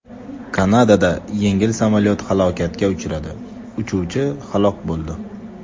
Kanadada yengil samolyot halokatga uchradi, uchuvchi halok bo‘ldi.